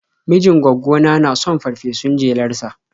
Mijin gwaggona na son farfesun jelar sa.